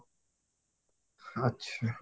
ଆଚ୍ଛା